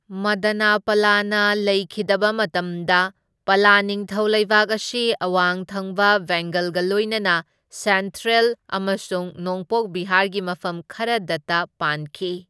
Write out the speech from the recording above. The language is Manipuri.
ꯃꯗꯅꯄꯂꯅ ꯂꯩꯈꯤꯗꯕ ꯃꯇꯝꯗ ꯄꯂ ꯅꯤꯡꯊꯧ ꯂꯩꯕꯥꯛ ꯑꯁꯤ ꯑꯋꯥꯡ ꯊꯪꯕ ꯕꯦꯡꯒꯜꯒ ꯂꯣꯏꯅꯅ ꯁꯦꯟꯇ꯭ꯔꯦꯜ ꯑꯃꯁꯨꯡ ꯅꯣꯡꯄꯣꯛ ꯕꯤꯍꯥꯔꯒꯤ ꯃꯐꯝ ꯈꯔꯗꯇ ꯄꯥꯟꯈꯤ꯫